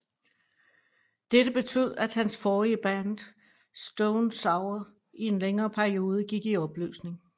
Dette betød at hans forrige band Stone Sour i en længere periode gik i opløsning